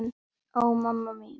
Ó, mamma mín.